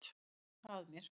Ég loka að mér.